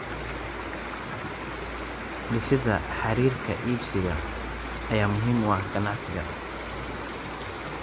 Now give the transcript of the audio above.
Dhisida xiriirka iibsadaha ayaa muhiim u ah ganacsiga.